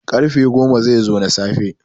karfe goma zai zo na safe